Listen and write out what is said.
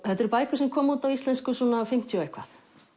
þetta eru bækur sem komu út á íslensku fimmtíu og eitthvað